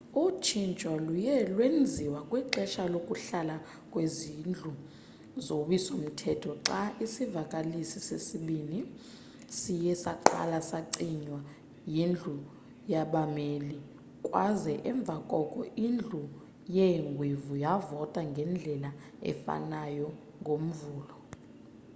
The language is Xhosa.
utshintsho luye lwenziwa kwixesha lokuhlala kwezindlu zowiso mthetho xa isivakalisi sesibini siye saqala sacinywa yindlu yabameli kwaza emva koko indlu yeengwevu yavota ngendlela efanayo ngomvulo